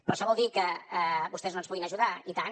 però això vol dir que vostès no ens puguin ajudar i tant